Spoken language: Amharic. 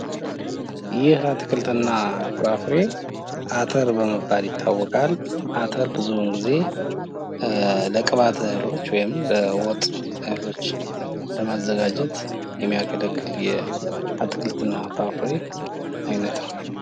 ይህ አትክልትና ፍራፍሬ አተር በመባል ይታወቃል። አተር ብዙውን ጊዜ የቅባት እህሎች ሲሆኑ ለወጥ መሪያነትም ያገለግላሉ።